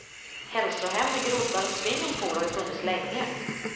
Hälsohem med groddar och swimmingpool har ju funnits länge.